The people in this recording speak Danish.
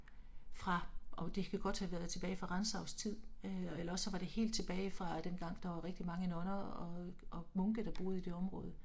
Fra ov det kan godt have været tilbage fra Rantzaus tid øh eller også så var det helt tilbage fra dengang der var rigtig mange nonner og æh munke der boede i det område